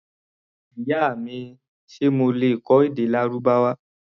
Ìyá mi, ṣe mo lè kọ́ èdè Lárúbáwá?